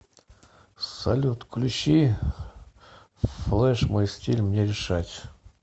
салют включи флэш мой стиль мне решать